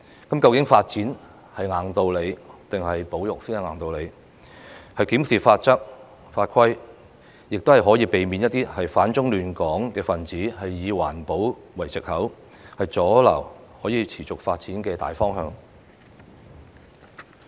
究竟發展是硬道理，還是保育才是硬道理？檢視法則和法規，亦可以避免一些反中亂港分子以環保為藉口，阻撓可以持續發展的大方向。